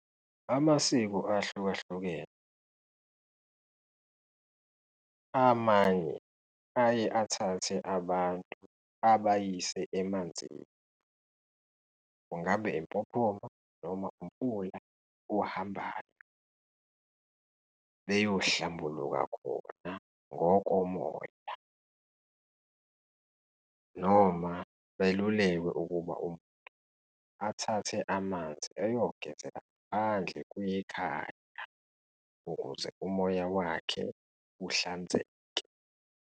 Amasiko ahlukahlukene, amanye aye athathe abantu abayise emanzini, kungabe impophoma, noma umfula ohambayo, beyohlambuluka khona ngokomoya noma belulekwe ukuba umuntu athathe amanzi eyogezala ngaphandle kwekhaya, ukuze umoya wakhe uhlanzeke.